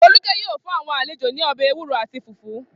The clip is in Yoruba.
Folúkẹ́ yóò fún àwọn àlejò ní ọbẹ̀ ewúro àti fùfú.